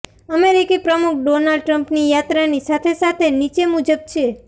અમેરિકી પ્રમુખ ડોનાલ્ડ ટ્રમ્પની યાત્રાની સાથે સાથે નીચે મુજબ છે